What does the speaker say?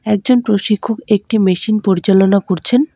একজন প্রশিক্ষক একটি মেশিন পরিচালনা করছেন।